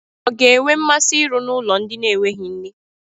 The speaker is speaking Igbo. Ụnụ ọ ga-enwe mmasị ịrụ n'ụlọ ndị na-enweghị nne?